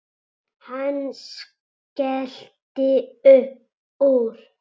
Hann skellti upp úr.